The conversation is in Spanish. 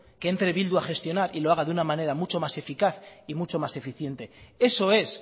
que entre bildu a gestionar y lo haga de una manera más eficaz y mucho más eficiente eso es